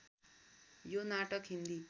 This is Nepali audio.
यो नाटक हिन्दी